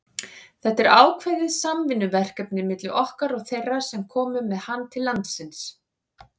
Þetta er ákveðið samvinnuverkefni milli okkar og þeirra sem komu með hann til landsins.